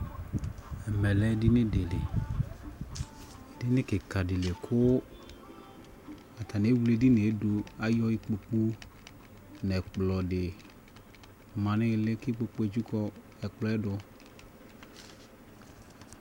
ɛmɛ lɛ ɛdinidi li, ɛdini kikaa di kʋ atani ɛwlɛ ɛdiniɛ dʋ kʋ ayɔ ikpɔkʋ nʋ ɛkplɔ di manʋ ili kʋ ikpɔkʋɛ ɛtsika ɛtsʋkʋ ɛkplɔɛ dʋ